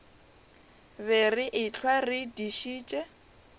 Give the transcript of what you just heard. be re ehlwa re dišitše